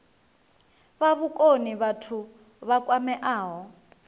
fha vhukoni vhathu vha kwameaho